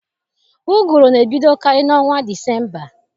Ụgụrụ na-ebidokarị n'ọnwa Disemba.